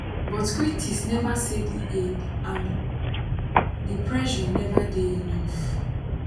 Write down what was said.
but critics say di aid and di pressure neva dey enough